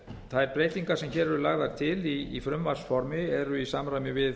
þær breytingar sem hér eru lagðar til í frumvarpsformi eru í samræmi við